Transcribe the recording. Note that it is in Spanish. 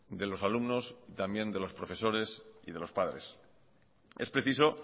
de los alumnos y también de los profesores y de los padres es preciso